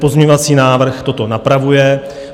Pozměňovací návrh toto napravuje.